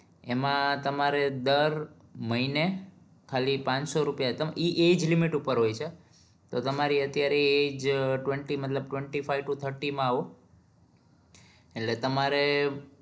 એમાં તમારે દર મહીને ખાલી પાંચસો રૂપીયા ઈ એજ limit પર હોય છે તો તમારી અત્યારે એજ twenty મતલબ twenty five threty માં આવો